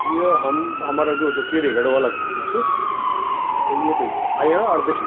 ये हम हमरा जो च टेहरी गढ़वाल क फोटो त येथे अयां और देख्याँ।